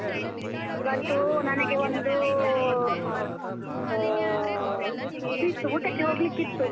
ಇವತ್ತು ನನಗೆ ಒಂದು, ಅಹ್ ಇದು ಇದು ಇತ್ತು ಊಟಕ್ಕೆ ಹೋಗ್ಲಿಕ್ಕೆ ಇತ್ತು.